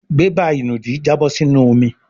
bébà ìnùdí Jabo sí inú omí.